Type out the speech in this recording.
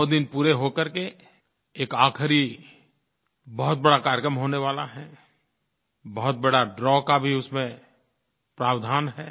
सौ दिन पूरे हो करके एक आख़िरी बहुत बड़ा कार्यक्रम होने वाला है बहुत बड़े द्रव का भी उसमें प्रावधान है